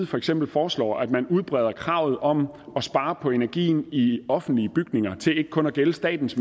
for eksempel foreslår at man udbreder kravet om at spare på energien i offentlige bygninger til ikke kun at gælde statens